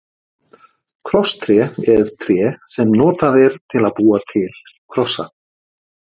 Krosstré er tré sem notað er til að búa til krossa.